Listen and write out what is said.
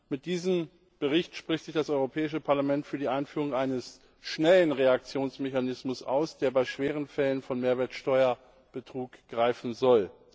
Mit diesem Bericht spricht sich das Europäische Parlament für die Einführung eines schnellen Reaktionsmechanismus aus, der bei schweren Fällen von Mehrwertsteuerbetrug greifen soll.